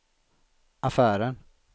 affären